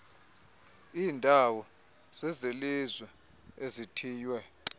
iindawo zezelizwe ezithiywe